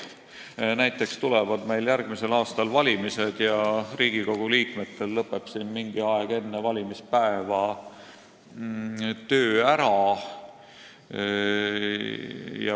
Näiteks tulevad meil järgmisel aastal valimised ja Riigikogu liikmetel lõpeb siin mingi aeg enne valimispäeva töö ära.